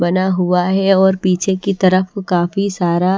बना हुआ है और पीछे की तरफ काफी सारा--